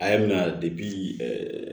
A y'a mina